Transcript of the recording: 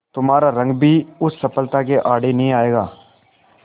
तुम्हारा रंग भी उस सफलता के आड़े नहीं आएगा